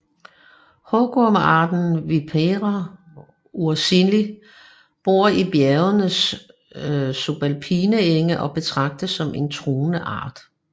Hugormearten Vipera ursinii bor i bjergets subalpine enge og betragtes som en truet art